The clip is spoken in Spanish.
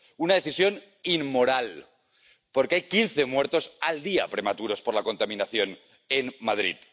Una decisión inmoral, porque hay quince muertos al día prematuros por la contaminación en Madrid